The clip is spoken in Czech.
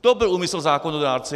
To byl úmysl zákonodárce.